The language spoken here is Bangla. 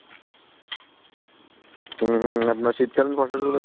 আপনার শীতকালিন ফসলগুলার